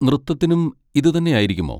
നൃത്തത്തിനും ഇത് തന്നെയായിരിക്കുമോ?